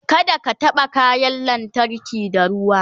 kada ka taɓa kayan lantarki da ruwa